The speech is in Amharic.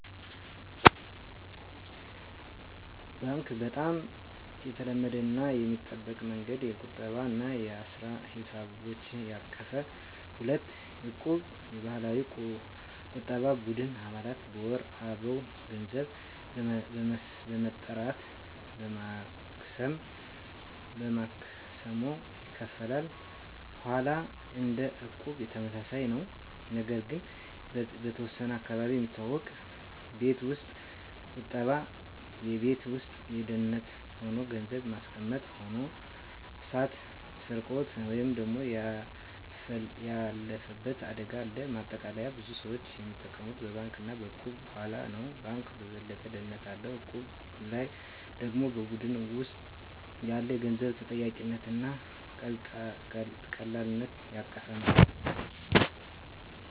1. ባንክ (Bank) - በጣም የተለመደው እና የሚጠበቀው መንገድ። የቁጠባ እና የአሰራ ሂሳቦችን ያቀፈ። 2. እቁብ (Equb) - የባህላዊ የቁጠባ ቡድን። አባላት በወር አበው ገንዘብ በመጠራት በማክሰሞ ይካፈላሉ። 3. ሆላ (Holla) - እንደ እቁብ ተመሳሳይ ነው፣ ነገር ግን በተወሰነ አካባቢ የሚታወቅ። 4. ቤት ውስጥ ቁጠባ (Saving at Home) - በቤት ውስጥ በደህንነት ሆኖ ገንዘብ ማስቀመጥ። ሆኖ እሳት፣ ስርቆት ወይም ያለፈበት አደጋ አለው። ማጠቃለያ ብዙ ሰዎች የሚጠቀሙት በባንክ እና በእቁብ/ሆላ ነው። ባንኩ የበለጠ ደህንነት አለው፣ እቁቡ/ሆላው ደግሞ በቡድን ውስጥ ያለ የገንዘብ ተጠያቂነት እና ቀላልነት ያቀፈ ነው።